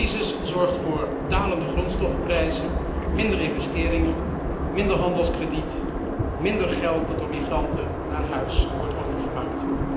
De crisis leidt tot dalende grondstoffenprijzen, minder investeringen, minder handelskrediet, minder geld dat door migranten naar huis wordt overgemaakt.